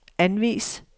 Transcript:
anvis